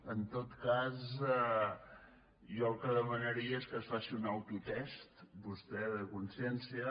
en tot cas jo el que demanaria és que es faci un autotest vostè de consciència